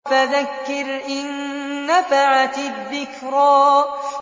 فَذَكِّرْ إِن نَّفَعَتِ الذِّكْرَىٰ